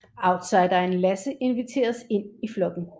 Outsideren Lasse inviteres ind i flokken